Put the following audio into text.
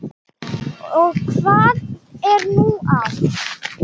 Og hvað er nú það?